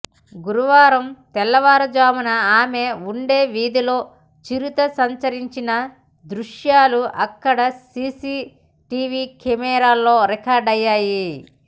గురువారం తెల్లవారుజామున ఆమె ఉండే వీధిలో చిరుత సంచిరించిన దృశ్యాలు అక్కడి సీసీటీవీ కెమెరాలో రికార్డయ్యాయి